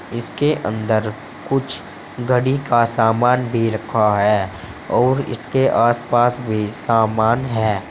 इसके अंदर कुछ घड़ी का सामान भी रखा है और इसके आस पास भी समान है।